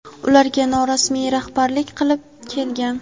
ularga norasmiy rahbarlik qilib kelgan..